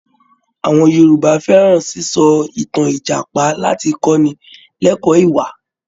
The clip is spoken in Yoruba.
Àwọn Yorùbá fẹ́ràn sísọ ìtàn Ìjàpá láti kọ́ni lẹ́kọ̀ọ́ ìwà